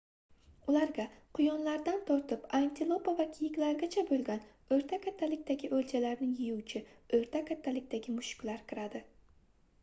ularga quyonlardan tortib antilopa va kiyiklargacha boʻlgan oʻrta kattalikdagi oʻljalarni yeyuvchi oʻrta kattalikdagi mushuklar kiradi